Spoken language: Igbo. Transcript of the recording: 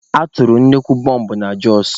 A tụrụ nnukwu bọmbụ na Jos.